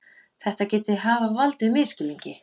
Þetta geti hafa valdið misskilningi